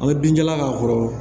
An bɛ binjalan k'a kɔrɔ